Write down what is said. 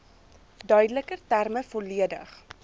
duideliker terme volledig